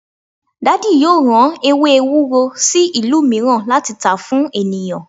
Daddy yoo ran ewe ewuro si ilu miiran lati ta fun eniyan